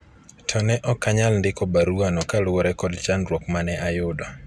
to ne ok anyalo ndiko barua no kaluwore kod chandruok mane ayudo